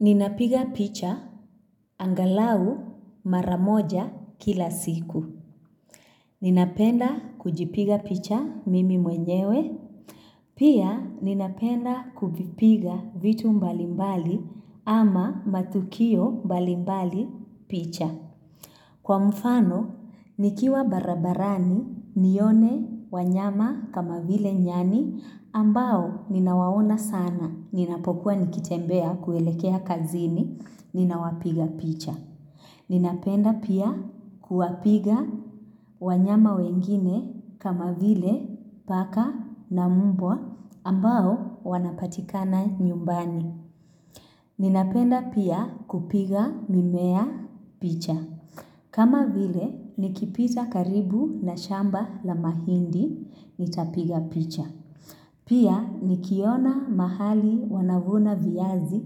Ninapiga picha angalau mara moja kila siku. Ninapenda kujipiga picha mimi mwenyewe. Pia ninapenda kuvipiga vitu mbalimbali ama matukio mbalimbali picha. Kwa mfano, nikiwa barabarani nione wanyama kama vile nyani ambao ninawaona sana. Ninapokuwa nikitembea kuelekea kazini, ninawapiga picha. Ninapenda pia kuwapiga wanyama wengine kama vile paka na mbwa ambao wanapatikana nyumbani. Ninapenda pia kupiga mimea picha. Kama vile nikipita karibu na shamba la mahindi, nitapiga picha. Pia nikiona mahali wanavuna viazi,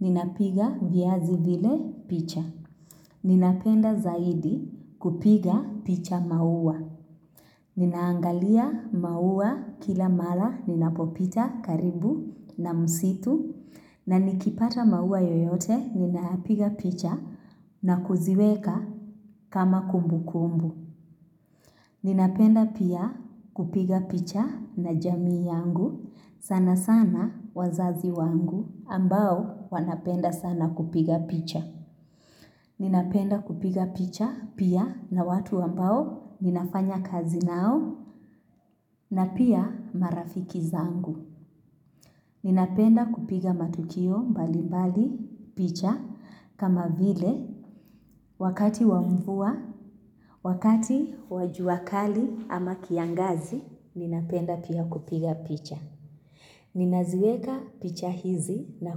ninapiga viazi vile picha. Ninapenda zaidi kupiga picha maua. Ninaangalia maua kila mara ninapopita karibu na msitu. Na nikipata maua yoyote, ninapiga picha na kuziweka kama kumbu kumbu. Ninapenda pia kupiga picha na jamii yangu sana sana wazazi wangu ambao wanapenda sana kupiga picha. Ninapenda kupiga picha pia na watu ambao ninafanya kazi nao na pia marafiki zangu. Ninapenda kupiga matukio mbali mbali picha kama vile wakati wa mvua, wakati wa juakali ama kiangazi, ninapenda pia kupiga picha. Ninaziweka picha hizi na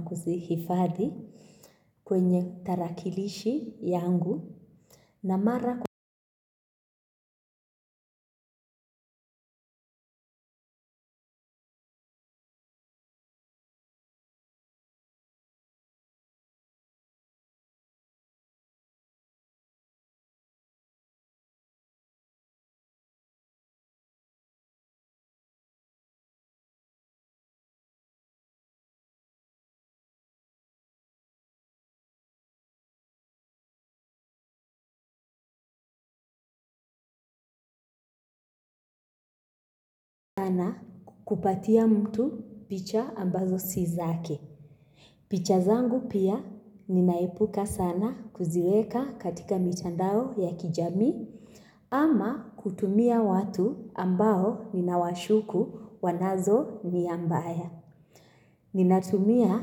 kuzihifadhi kwenye tarakilishi yangu na mara kukaa na kupatia mtu picha ambazo si zake. Picha zangu pia ninaepuka sana kuziweka katika mitandao ya kijami ama kutumia watu ambao ninawashuku wanazo nia mbaya. Ninatumia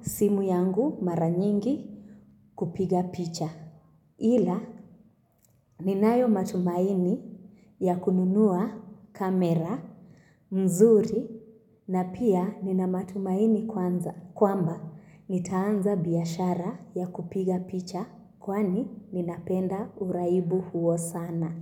simu yangu mara nyingi kupiga picha. Ila ninayo matumaini ya kununua kamera, mzuri na pia nina matumaini kwanza. Kwamba, nitaanza biashara ya kupiga picha kwani ninapenda uraibu huo sana.